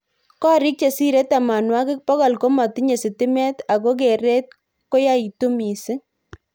Korik chesirei tamanwakik bokol komatinye sitimet ako keret koyaitu missing.